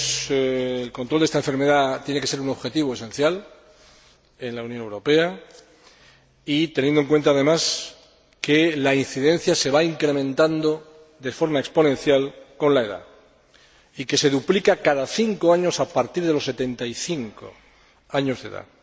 El control de esta enfermedad tiene que ser un objetivo esencial en la Unión Europea, teniendo en cuenta, además, que la incidencia se va incrementando de forma exponencial con la edad y que se duplica cada cinco años a partir de los 75 años de edad.